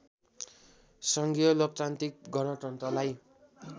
सङ्घीय लोकतान्त्रिक गणतन्त्रलाई